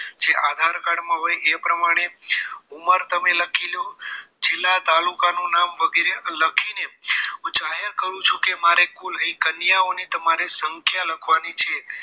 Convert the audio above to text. જે આધાર કાર્ડમાં હોય એ પ્રમાણે ઉંમર તમે લખી લો જિલ્લા તાલુકા નું નામ વગેરે લખી ને હું જાહેર કરું છું કે મારે કુલ અહીં કન્યાઓની તમારે સંખ્યા લખવાની છે